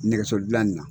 Nɛgɛso dilanni na